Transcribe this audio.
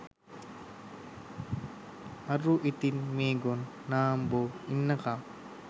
අරූ ඉතින් මේ ගොන් නාම්බෝ ඉන්නකම්